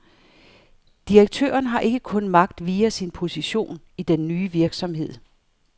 Direktøren har ikke kun magt via sin position i den nye virksomhed.